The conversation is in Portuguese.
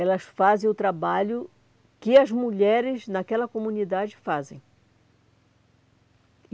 Elas fazem o trabalho que as mulheres naquela comunidade fazem.